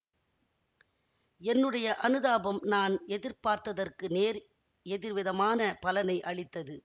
என்னுடைய அனுதாபம் நான் எதிர்பார்த்ததற்கு நேர் எதிர்விதமான பலனை அளித்தது